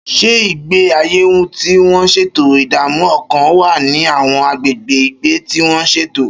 Ṣé ìgbé ayé tí wọ́n ṣètò ìdààmú ọkàn wà ní àwọn agbègbè ìgbé tí wọ́n ṣètò?